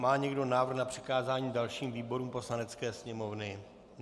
Má někdo návrh na přikázání dalším výborům Poslanecké sněmovny?